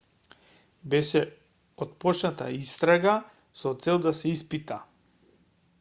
беше отпочната истрага со цел да се испита